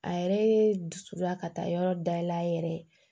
A yɛrɛ ye dusu da ka taa yɔrɔ dayɛlɛ a yɛrɛ ye